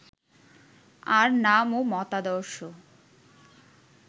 আর নাম ও মতাদর্শ